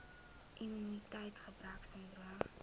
immuniteits gebrek sindroom